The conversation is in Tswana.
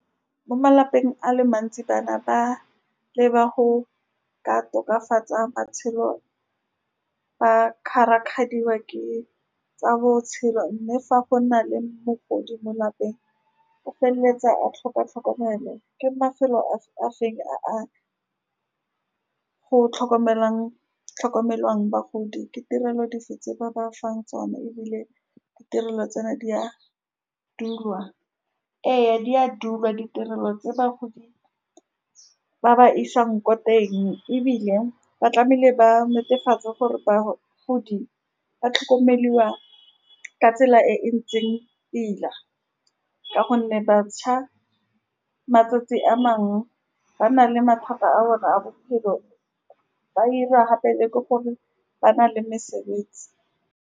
Mo malapeng a le mantsi, bana ba leba go ka tokafatsa matshelo, ba kgarakgadiwa ke tsa botshelo, mme fa go na le mogodi mo lapeng, o feleletsa a tlhoka tlhokomelo. Ke mafelo a-a feng a go tlhokomelang, tlhokomelwang bagodi, Ke tirelo dife tse ba ba fang tsone. Ebile, ditirelo tseno di a dulwa, ee, di a dulwa. Ditirelo tse bagodi ba ba isang ko teng, ebile ba tlameile ba netefatsa gore bagodi ba tlhokomelwa ka tsela e ntseng pila, ka gonne batjha matsatsi a mangwe ba na le mathata a bone a bophelo. Ba dira gape le ke gore ba na le mesebetsi.